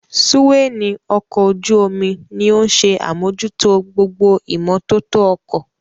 Súwáínì ọkọ̀ ojú-omi ní òun ṣe àmójútó gbogbo ìmótótó ọkọ̀